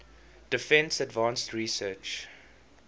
defense advanced research